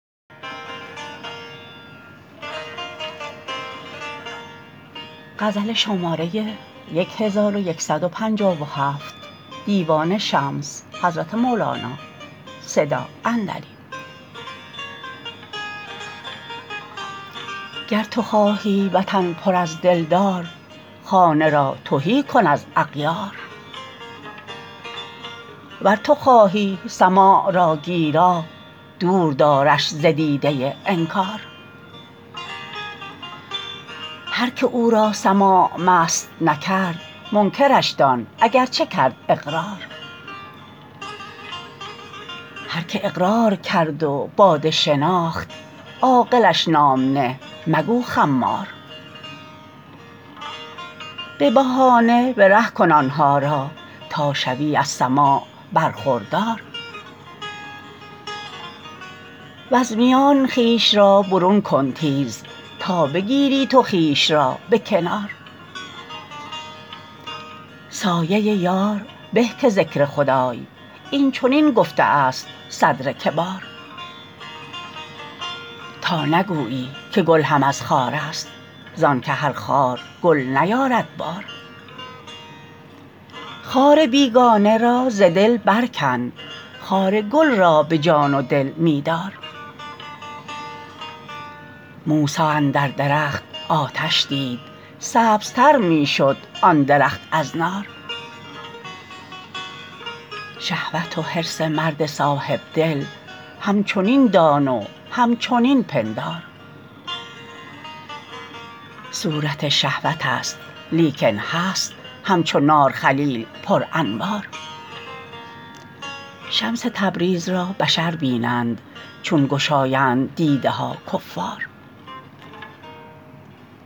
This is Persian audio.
گر تو خواهی وطن پر از دلدار خانه را رو تهی کن از اغیار ور تو خواهی سماع را گیرا دور دارش ز دیده انکار هر که او را سماع مست نکرد منکرش دان اگر چه کرد اقرار هر که اقرار کرد و باده شناخت عاقلش نام نه مگو خمار به بهانه به ره کن آن ها را تا شوی از سماع برخوردار وز میان خویش را برون کن تیز تا بگیری تو خویش را به کنار سایه یار به که ذکر خدای اینچنین گفته ست صدر کبار تا نگویی که گل هم از خارست زانک هر خار گل نیارد بار خار بیگانه را ز دل برکن خار گل را به جان و دل می دار موسی اندر درخت آتش دید سبزتر می شد آن درخت از نار شهوت و حرص مرد صاحب دل همچنین دان و همچنین پندار صورت شهوتست لیکن هست همچو نار خلیل پرانوار شمس تبریز را بشر بینند چون گشایند دیده ها کفار